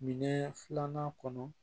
Minɛn filanan kɔnɔ